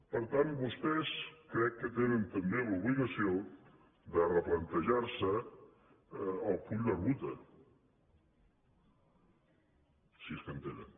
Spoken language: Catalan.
per tant vostès crec que tenen també l’obligació de replantejar se el full de ruta si és que en tenen